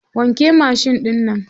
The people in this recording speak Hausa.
Wanke mashin ɗinnan.